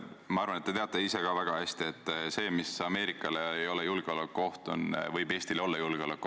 Ma arvan, et te teate ka ise väga hästi, et see, mis Ameerikale ei ole julgeolekuoht, võib Eestile seda olla.